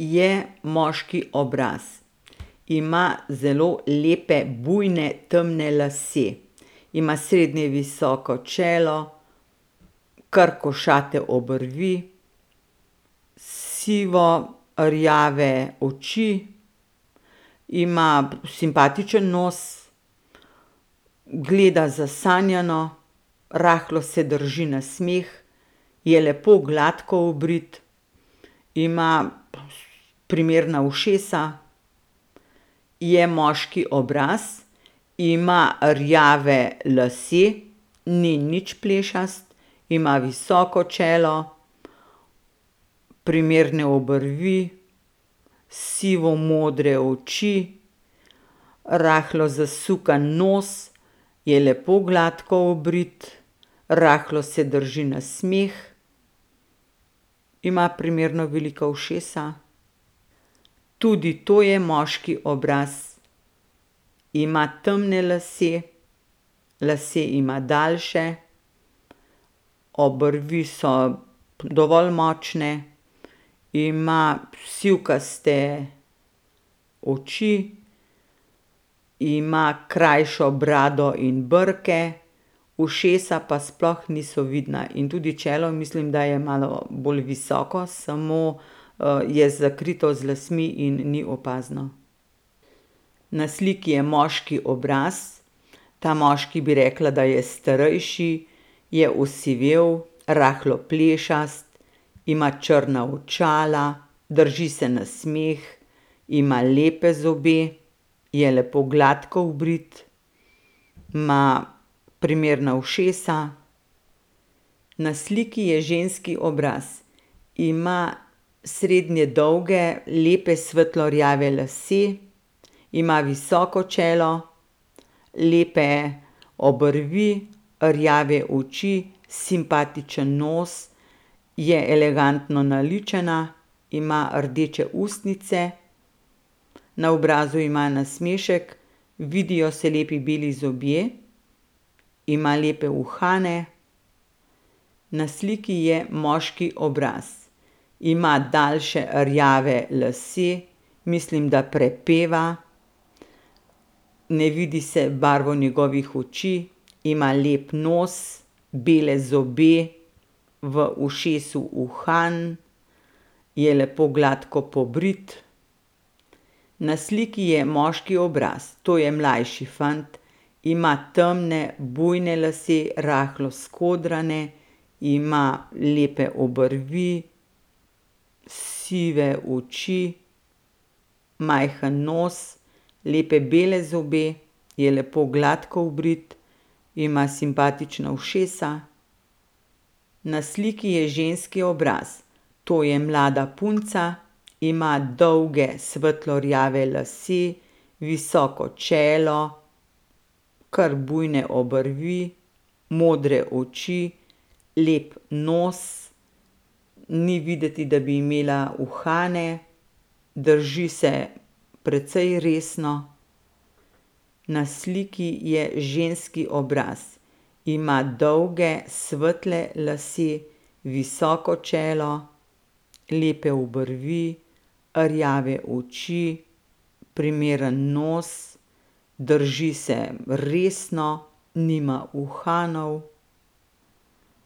Je moški obraz. Ima zelo lepe bujne, temne lase. Ima srednje visoko čelo, kar košate obrvi, sivo rjave oči. Ima simpatičen nos. Gleda zasanjano, rahlo se drži na smeh. Je lepo, gladko obrit. Ima primerna ušesa. Je moški obraz. Ima rjave lase. Ni nič plešast. Ima visoko čelo. Primerne obrvi, sivo modre oči, rahlo zasukan nos, je lepo gladko obrit, rahlo se drži na smeh. Ima primerno velika ušesa. Tudi to je moški obraz. Ima temne lase, lase ima daljše, obrvi so dovolj močne. Ima sivkaste oči. Ima krajšo brado in brke, ušesa pa sploh niso vidna. In tudi čelo, mislim, da je malo bolj visoko, samo, je zakrito z lasmi in ni opazno. Na sliki je moški obraz. Ta moški, bi rekla, da je starejši. Je osivel, rahlo plešast, ima črna očala, drži se na smeh, ima lepe zobe. Je lepo gladko obrit. Ima primerna ušesa. Na sliki je ženski obraz. Ima srednje dolge lepe svetlo rjave lase, ima visoko čelo, lepe obrvi, rjave oči, simpatičen nos. Je elegantno naličena, ima rdeče ustnice. Na obrazu ima nasmešek, vidijo se lepi beli zobje. Ima lepe uhane. Na sliki je moški obraz. Ima daljše rjave lase, mislim, da prepeva. Ne vidi se barvo njegovih oči, ima lep nos, bele zobe, v ušesu uhan, je lepo gladko pobrit. Na sliki je moški obraz. To je mlajši fant, ima temne bujne lase, rahlo skodrane. Ima lepe obrvi, sive oči, majhen nos, lepe bele zobe, je lepo gladko obrit, ima simpatična ušesa. Na sliki je ženski obraz. To je mlada punca. Ima dolge svetlo rjave lase, visoko čelo, kar bujne obrvi, modre oči, lep nos. Ni videti, da bi imela uhane. Drži se precej resno. Na sliki je ženski obraz. Ima dolge svetle lase, visoko čelo, lepe obrvi, rjave oči, primeren nos, drži se resno. Nima uhanov.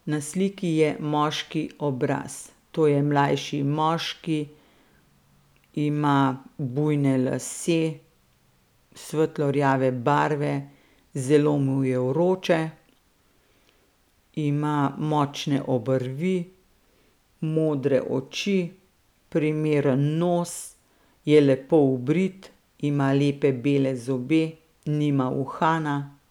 Na sliki je moški obraz. To je mlajši moški. Ima bujne lase svetlo rjave barve, zelo mu je vroče. Ima močne obrvi, modre oči, primeren nos, je lepo obrit, ima lepe bele zobe, nima uhana.